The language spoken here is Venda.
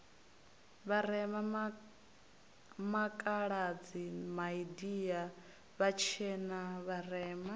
vharema makhaladi maindia vhatshena vharema